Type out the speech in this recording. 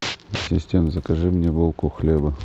ассистент закажи мне булку хлеба